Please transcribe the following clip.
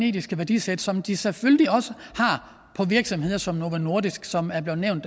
etiske værdisæt som de selvfølgelig også har på virksomheder som novo nordisk som er blev nævnt